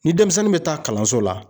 Ni denmisɛnnin bɛ taa kalanso la.